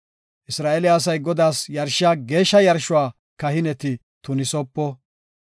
Isra7eele asay Godaas yarshiya geeshsha yarshuwa kahineti tunisopo.